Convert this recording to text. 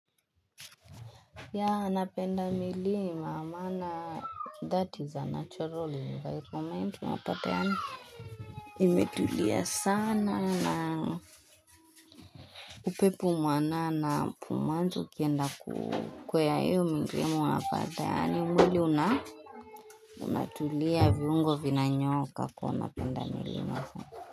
Yeah napenda milima maana that is a natural environment unapata imetulia sana na upepo mwanana mwanzo ukienda kukwea hiyo milima anapata yaani mwili una unatulia viungo vinanyooka kwa unapenda milima.